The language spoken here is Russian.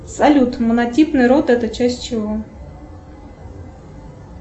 салют монотипный род это часть чего